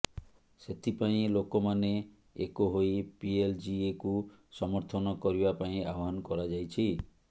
ସେଥିପାଇଁ ଲୋକମାନେ ଏକ ହୋଇ ପିଏଲଜିଏକୁ ସମର୍ଥନ କରିବା ପାଇଁ ଆହ୍ୱାନ କରାଯାଇଛି